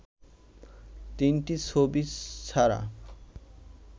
তিনটি ছবি ছাড়া